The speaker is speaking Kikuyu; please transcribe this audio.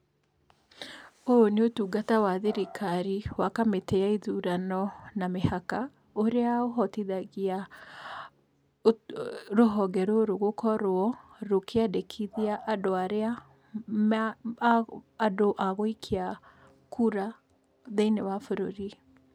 Ũyũ nĩ ũtungata wa thrikari wa kamĩtĩ ya ithurano na mĩhaka, ũrĩa ũhotithagia, rũhonge rũrũ gũkorwo, rũkĩandĩkithia andũ arĩa, andũ a gũikia kura thĩiniĩ wa bũrũri.